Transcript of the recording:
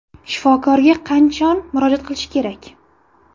Shifokorga qachon murojaat qilish kerak?